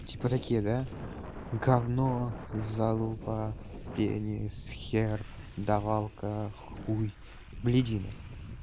типа такие да говно залупа пенис хер давалка хуй блядина